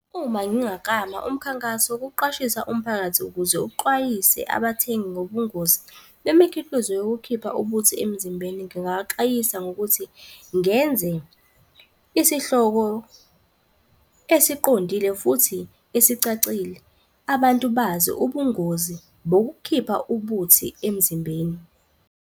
Uma ngingaklama umkhankaso wokuqwashisa umphakathi ukuze uxwayise abathengi ngobungozi bemikhiqizo yokukhipha ubuthi emzimbeni, ngingabaxwayisa ngokuthi ngenze isihloko esiqondile futhi esicacile, abantu bazi ubungozi bokukhipha ubuthi emzimbeni.